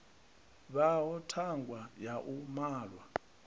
vhaho thanga ya u malwa